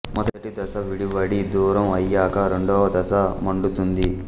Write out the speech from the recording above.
మొదటి దశ విడివడి దూరం అయ్యాక రెండవ దశ మండుతుంది